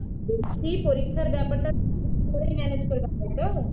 বলছি পরীক্ষার ব্যাপারটা পুরোপুরি manage করবে তাইতো